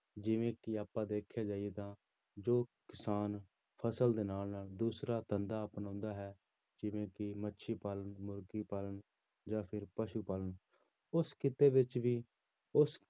ਜਿਵੇਂ ਕਿ ਆਪਾਂ ਦੇਖਿਆ ਜਾਈਏ ਤਾਂ ਜੋ ਕਿਸਾਨ ਫ਼ਸਲ ਦੇ ਨਾਲ ਨਾਲ ਦੂਸਰਾ ਧੰਦਾ ਅਪਣਾਉਂਦਾ ਹੈ, ਜਿਵੇਂ ਕਿ ਮੱਛੀ ਪਾਲਣ, ਮੁਰਗੀ ਪਾਲਣ ਜਾਂ ਫਿਰ ਪਸੂ ਪਾਲਣ, ਉਸ ਕਿੱਤੇ ਵਿੱਚ ਵੀ ਉਸ